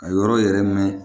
Ka yɔrɔ yɛrɛ mɛn